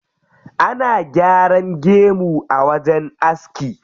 Ana gyaran gemu a wajen aski.